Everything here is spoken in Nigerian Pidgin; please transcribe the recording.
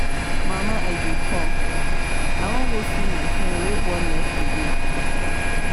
mama i dey come i wan go see my friend wey born yesterday